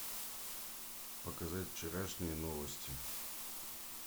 показать вчерашние новости